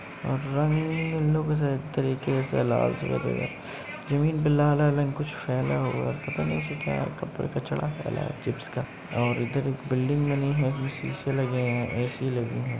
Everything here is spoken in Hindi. रंग जमीन पे फैला हुआ है। पता नहीं तो क्या कप अ कचड़ा फैला है चिप्स का और इधर एक बिल्डिंग बनी हुई है। शीशे लगें हैं। ए.सी. लगीं हैं।